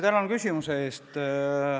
Tänan küsimuse eest!